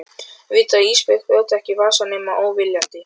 Viti að Ísbjörg brjóti ekki vasa nema óviljandi.